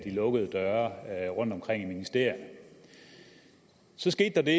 lukkede døre rundtomkring i ministerierne så skete der det